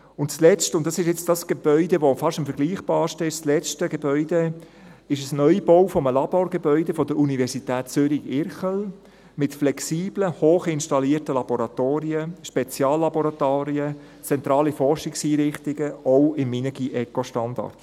Und zuletzt – und dies ist jenes Gebäude, das fast am vergleichbarsten ist – noch der Neubau eines Laborgebäudes der Universität Zürich-Irchel mit flexiblen, hochinstallierten Laboratorien, Speziallaboratorien, zentralen Forschungseinrichtungen, ebenfalls im Minergie-ECO-Standard.